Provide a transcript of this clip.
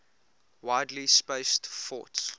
widely spaced forts